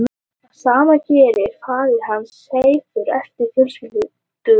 Það sama gerði faðir hans Seifur eftir fjölskylduerjur.